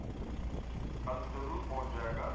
ਕੱਲ ਜਦੋਂ ਵੀ ਪਹੁੰਚ ਜਾਏਗਾ